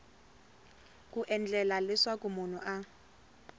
ku endlela leswaku munhu a